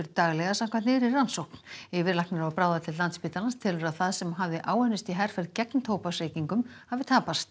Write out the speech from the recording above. daglega samkvæmt nýrri rannsókn yfirlæknir á bráðadeild Landspítalans telur að það sem áður hafði áunnist í herferð gegn tóbaksreykingum hafi tapast